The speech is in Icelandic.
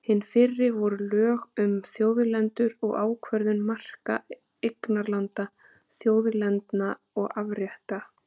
Hin fyrri voru lög um þjóðlendur og ákvörðun marka eignarlanda, þjóðlendna og afrétta.